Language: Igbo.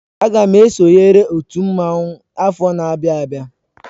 Aga m esonyere otú mmanwu afọ n'abia abịa.